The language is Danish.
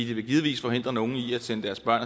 det vil givetvis forhindre nogle i at sende deres børn